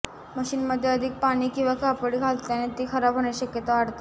मशीनमध्ये अधिक पाणी किंवा कपडे घातल्याने ती खराब होण्याची शक्यता वाढते